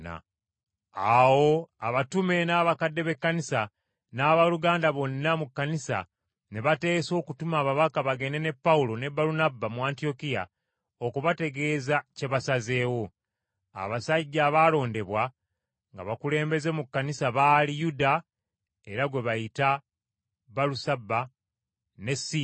Awo abatume n’abakadde b’Ekkanisa n’abooluganda bonna mu Kkanisa ne bateesa okutuma ababaka bagende ne Pawulo ne Balunabba mu Antiyokiya okubategeeza kye basazeewo. Abasajja abaalondebwa nga bakulembeze mu Kkanisa baali: Yuda (era gwe bayita Balusaba) ne Siira.